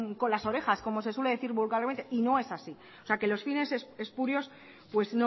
con las orejas como se suele decir vulgarmente y no es así o sea que los fines espurios pues